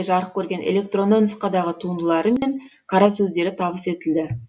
жарық көрген электронды нұсқадағы туындылары мен қара сөздері табыс етілді